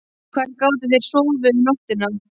En hvar gátu þeir sofið um nóttina?